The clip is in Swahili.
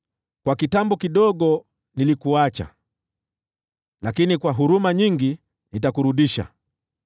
“Kwa kitambo kidogo nilikuacha, lakini kwa huruma nyingi nitakurudisha.